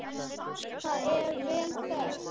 Það er vel þekkt.